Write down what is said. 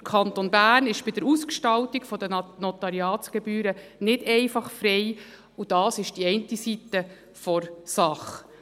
Der Kanton Bern ist bei der Ausgestaltung der Notariatsgebühren nicht einfach frei, und dies ist die eine Seite der Sache.